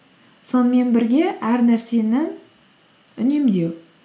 сонымен бірге әр нәрсені үнемдеу